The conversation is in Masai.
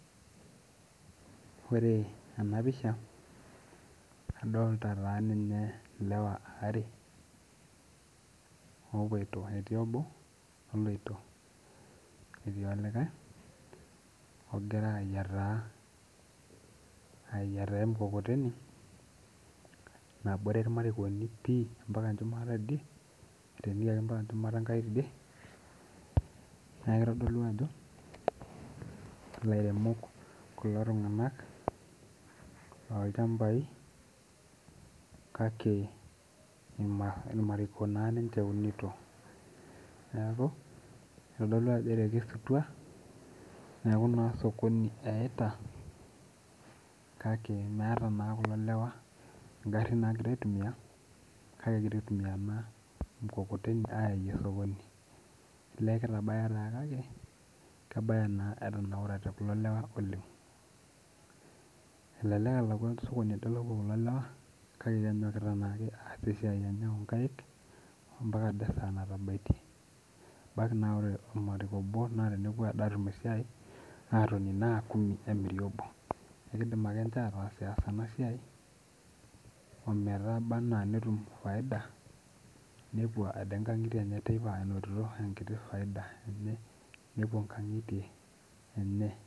Ore ena piasha adolta taa ninye ilewa aare opoito etii obo oloito netii olikae ogira ayiataa ayiata emukokoteni nabore irmarikoni pii ampaka enchumata tidie etenikiaki mpaka enchumata enkai tidie neku kitodolu ajo ilairemok kulo tung'anak lolchambai kake irmariko naa ninche eunito neeku itodolu ajo etekesutua neeku naa sokoni eyaita kake meeta naa kulo lewa ingarrin nagira aitumia kake egira aitumia ena mukokoteni ayayie sokoni elee kitabaya taa kake kebaya naa etanaurate kulo lewa oleng elelek elakua sokoni ade opuo kulo lewa kake kenyokita naake aas esiai enye onkaik ampaka ade esaa natabaitie ebaki naa ore ormariko obo naa tenepuo ade atum esiai atoni naa kumi emiri obo ekidim ake inche ataasiyas ena siai ometaba anaa netum faida nepuo ade inkang'itie teipa enotito enkiti faida enye nepuo inkang'itie enye.